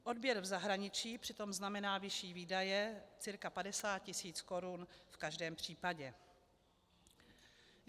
Odběr v zahraničí přitom znamená vyšší výdaje, cca 50 tisíc korun v každém případě.